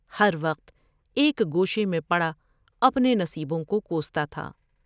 ہر وقت ایک گوشے میں پڑا اپنے نصیبوں کو کوستا تھا ۔